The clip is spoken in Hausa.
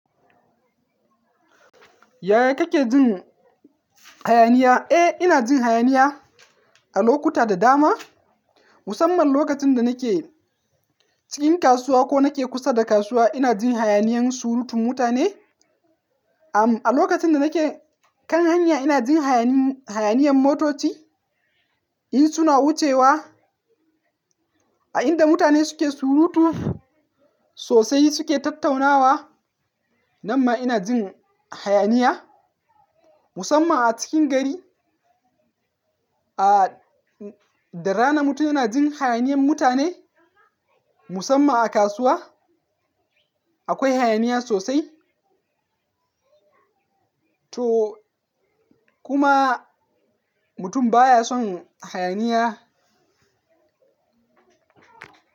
Yaya kake jin hayaniya? Eh, ina jin hayaniya a lokuta da dama. Musamman lokacin da nake cikin kasuwa ko nake kusa da kasuwa ina jin hayaniyan surutun mutane. Am, a lokacin da nake kan hanya ina jin hayaniyan hayaniyan motoci, in suna wucewa. A inda mutane suke surutu sosai suke tattaunawa, nan ma ina jin hayaniya. Musamman a cikin gari, ah, da rana mutum yana jin hayaniyan mutane. Musamman a kasuwa akwai hayaniya sosai. To kuma mutum baya son hayaniya.